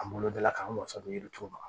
An bolo da la k'an masa don yirituru ma